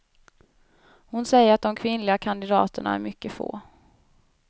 Hon säger att de kvinnliga kandidaterna är mycket få.